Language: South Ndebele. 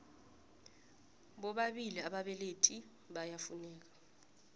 bobabili ababelethi iyafuneka